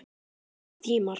Spennandi tímar?